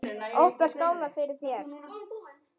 Oft var skálað fyrir þér.